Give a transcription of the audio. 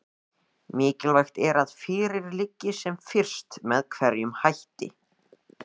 Mikilvægt er að fyrir liggi sem fyrst með hverjum hætti